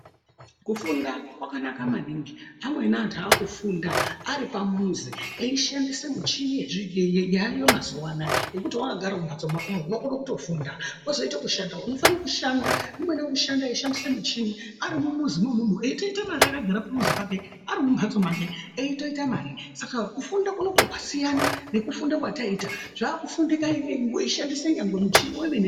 Kufunda kwakanaka maningi amweni antu akufunda Ari pamuzi eishandisa michini yaayo mazuwa ano .Ngekuti wakagara mumhatsomwo unokwanisa kushanda weishandisa muchini arimo mumuzimo eitoita mare akagara pamuzi pake arimumuzi make eitoita mare Saka kufunda kunoku kwasiyana nekufunda kwataiita zvakushanda nyangwe weishandisa muchini wemene.